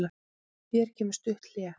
Hér kemur stutt hlé.